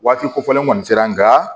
Waati kofɔlen kɔni sera n ka